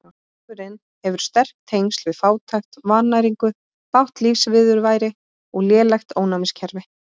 Sjúkdómurinn hefur sterk tengsl við fátækt, vannæringu, bágt lífsviðurværi og lélegt ónæmiskerfi.